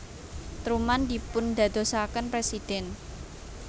Truman dipundadosaken presiden